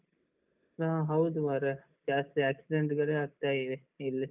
ಹಾ ಹೌದು ಮರ್ರೆಜಾಸ್ತಿ accident ಗಳೇ ಆಗ್ತಾ ಇವೆ ಇಲ್ಲಿ.